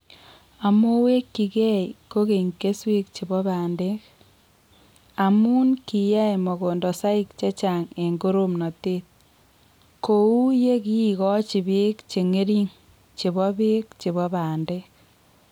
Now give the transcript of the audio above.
Amoweekyigei kogeny kesweek che po bandek, amu kiyaei mogondosaik che chaang' eng' koroomnateet, ko uu ye ki igoochi peek che ng'ering' che po peek che po bandek.